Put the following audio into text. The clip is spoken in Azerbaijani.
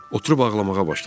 Oturub ağlamağa başladım.